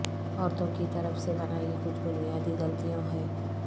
عورتوں کی طرف سے بنائی کچھ بنیادی غلطیوں ہیں